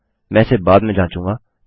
मैं इसे बाद में जाँचूँगा